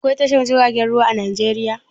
Aƙwai tashar jiragen ruwa a Najeriya?